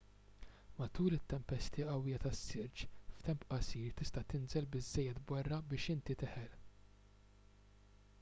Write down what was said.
matul it-tempesti qawwija tas-silġ f'temp qasir tista' tinżel biżżejjed borra biex inti teħel